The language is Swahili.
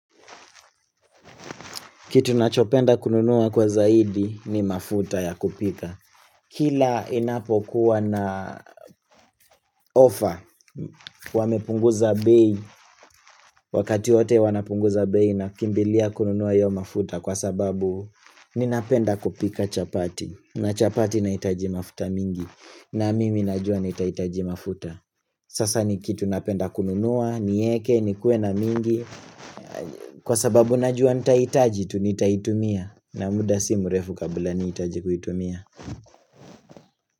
Kitu nachopenda kununua kwa zaidi ni mafuta ya kupika. Kila inapo kuwa na offer, wamepunguza bei, wakati wote wanapunguza bei nakimbilia kununua hiyo mafuta kwa sababu ninapenda kupika chapati. Na chapati nahitaji mafuta mingi, na mimi najua nitahitaji mafuta. Sasa ni kitu napenda kununua, nieke, nikuwe na mingi kwa sababu najua nitahitaji, tu nitaitumia na muda si mrefu kabla nihitaji kuitumia.